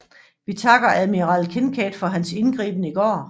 Vi takker admiral Kinkaid for hans indgriben i går